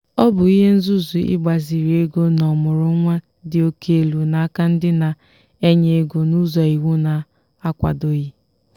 ọ bụ ihe nzuzu ịgbaziri ego n'ọmụrụnwa dị oke elu n'aka ndị na-enye ego n'ụzọ iwu na-akwadoghị.